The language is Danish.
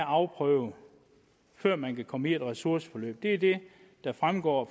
afprøvet før man kan komme et ressourceforløb det er det der fremgår